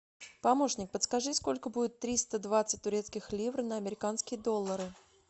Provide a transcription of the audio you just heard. помощник подскажи сколько будет триста двадцать турецких лир на американские доллары